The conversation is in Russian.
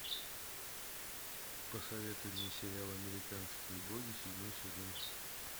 посоветуй мне сериал американские боги седьмой сезон